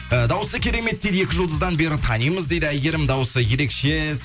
ы дауысы керемет дейді екі жұлдыздан бері танимыз дейді әйгерімнің дауысы ерекше